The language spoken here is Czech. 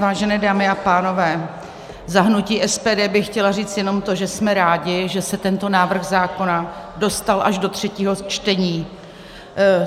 Vážené dámy a pánové, za hnutí SPD bych chtěla říct jenom to, že jsme rádi, že se tento návrh zákona dostal až do třetího čtení.